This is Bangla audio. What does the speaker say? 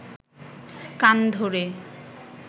কান ধরে